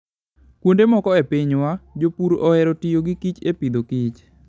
Kuonde moko e pinywa, jopur ohero tiyo gi kich e Agriculture and Food.